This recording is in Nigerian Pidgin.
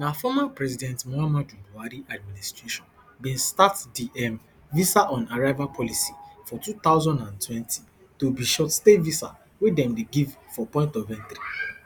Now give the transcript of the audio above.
na former president muhammadu buhari administration bin start di um visaonarrival policy for two thousand and twenty to be shortstay visa wey dem dey give for point of entry